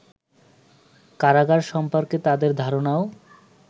কারাগার সম্পর্কে তাদের ধারণাও